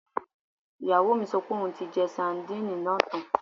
Ìyàwó mi sọ pé òun ti jẹ sadínìnì náà tán